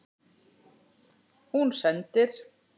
Hún sendir